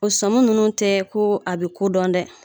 O sɔnmun nunnu tɛ ko a bi ko dɔn dɛ